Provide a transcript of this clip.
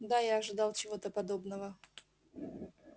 да я ожидал чего-то подобного